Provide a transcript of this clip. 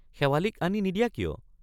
শেৱালিক আনি নিদিয়া কিয়?